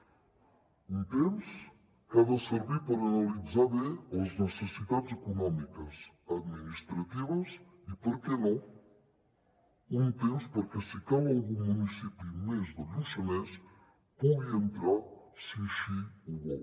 un temps que ha de servir per analitzar bé les necessitats econòmiques administratives i per què no un temps perquè si cal algun municipi més del lluçanès pugui entrar hi si així ho vol